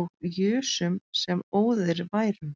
og jusum sem óðir værum